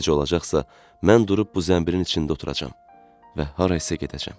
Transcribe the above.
Necə olacaqsa, mən durub bu zəmbirin içində oturacam və harasa gedəcəm.